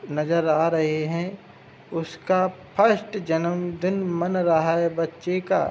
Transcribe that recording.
नज़र आ रहे हैं। उसका फर्स्ट जन्मदिन मन रहा है बच्चे का।